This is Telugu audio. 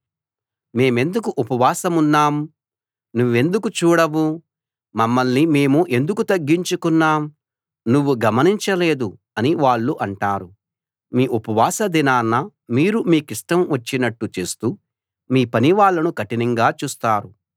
మేమెందుకు ఉపవాసమున్నాం నువ్వెందుకు చూడవు మమ్మల్ని మేము ఎందుకు తగ్గించుకున్నాం నువ్వు గమనించలేదు అని వాళ్ళు అంటారు మీ ఉపవాస దినాన మీరు మీకిష్టం వచ్చినట్టు చేస్తూ మీ పనివాళ్ళను కఠినంగా చూస్తారు